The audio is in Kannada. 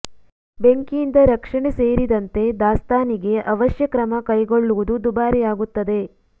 ಬೆಂಕಿಯಿಂದ ರಕ್ಷಣೆ ಸೇರಿದಂತೆ ದಾಸ್ತಾನಿಗೆ ಅವಶ್ಯ ಕ್ರಮ ಕೈಗೊಳ್ಳುವುದು ದುಬಾರಿ ಆಗುತ್ತದೆ